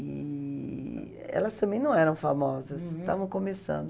E elas também não eram famosas, estavam começando.